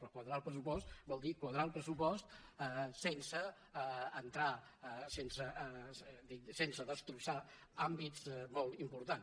per quadrar el pressupost vol dir quadrar el pressupost sense entrar sense destrossar àmbits molt importants